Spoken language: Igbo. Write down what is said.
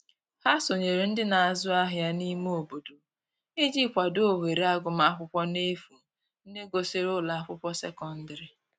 Ha sonyere ndi n'azu ahia n'ime obodo iji kwado ohere agụma akwụkwo n'efu ndi gusiri ụlọ akwụkwo sekọndrị